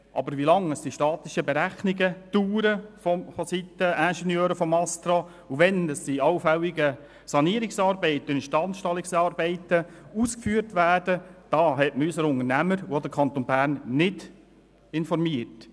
Aber wie lange die statischen Berechnungen durch die Ingenieure des ASTRA dauern, und wann die allfälligen Sanierungs- und Instandstellungsarbeiten ausgeführt werden, darüber hat man unsere Unternehmer und auch den Kanton Bern nicht informiert.